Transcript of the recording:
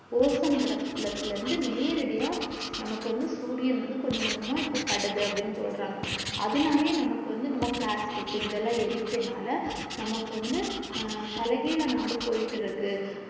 ozone படத்துல்ல இருந்து நேரடியா நமக்கு வந்து சூரியன் கொஞ்ச கொஞ்சமா இப்போ படுதுன்னு அப்டி சொல்றாங்க அதுனாலே நமக்கு வந்து நம்ம plastic க்கு இதெல்லாம்எரிகிரதுனால நமக்கு வந்து தலைகிள்ள நாடு போயிட்டு இருக்கு